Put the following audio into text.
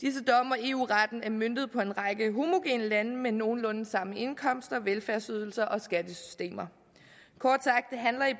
og eu retten er møntet på en række homogene lande med nogenlunde samme indkomst og velfærdsydelser og skattesystemer